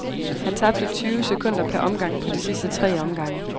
Han tabte tyve sekunder per omgang på de sidste tre omgange.